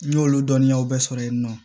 N y'olu dɔnniyaw bɛɛ sɔrɔ yen nɔ